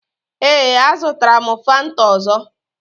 Ee, a zụtara m Fanta ọzọ.